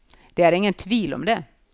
Det er ingen tvil om det.